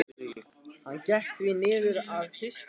Og hvað á svo að gera þegar barnið fæðist?